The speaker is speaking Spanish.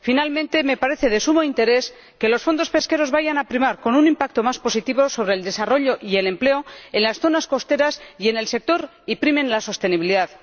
Finalmente, me parece de sumo interés que los fondos pesqueros vayan a tener un impacto más positivo sobre el desarrollo y el empleo en las zonas costeras y en el sector, y que primen la sostenibilidad.